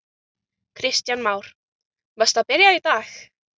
Kristján Már: Varstu að byrja í dag?